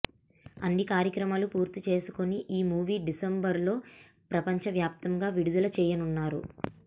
అన్ని కార్యక్రమాలు పూర్తి చేసుకుని ఈ మూవీ డిసెంబర్ లో ప్రపంచవ్యాప్తంగా విడుదల చేయనున్నారు